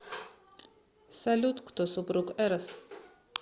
салют кто супруг эрос